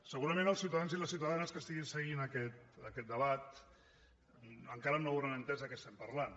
segurament els ciutadans i les ciutadans que estiguin seguint aquest debat encara no hauran entès de què parlem